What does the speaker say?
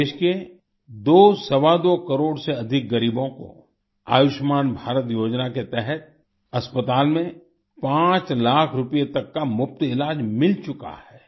आज देश के दोसवादो करोड़ से अधिक गरीबों को आयुष्मान भारत योजना के तहत अस्पताल में 5 लाख रुपए तक का मुफ्त इलाज मिल चुका है